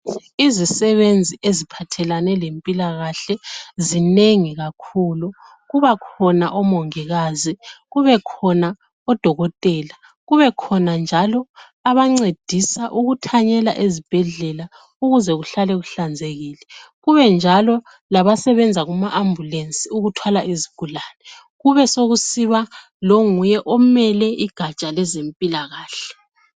Izisebenzi eziphathelane lempilakahle zinengi kakhulu, kuba khona omongikazi, kube khona odokotela, kube khona njalo abancedisa ukuthanyela ezibhedlela ukuze kuhlale kuhlanzekile. Kube njalo laba sebenza kuma ambulensi ukuthwala izigulane, kube sekusiba longuye ophethe ugatsha lwezempilakahle.